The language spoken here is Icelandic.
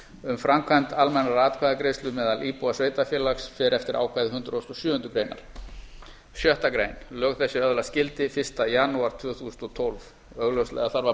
um framkvæmd almennrar atkvæðagreiðslu meðal íbúa sveitarfélags fer eftir ákvæði hundrað og sjöundu greinar sjöttu grein lög þessi öðlast gildi fyrsta janúar tvö þúsund og tólf augljóslega þarf að